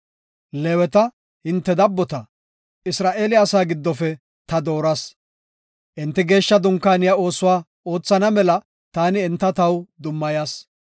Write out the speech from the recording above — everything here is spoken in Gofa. Leeweta, hinte dabbota, Isra7eele asaa giddofe ta dooras. Enti geeshsha dunkaaniya oosuwa oothana mela taani enta taw dummayas.